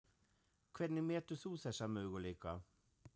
Hvernig metur þú þessa möguleika?